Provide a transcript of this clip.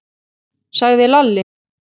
sagði Lalli.